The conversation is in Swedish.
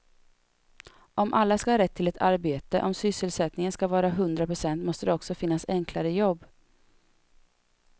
Om alla ska ha rätt till ett arbete, om sysselsättningen ska vara hundra procent måste det också finnas enklare jobb.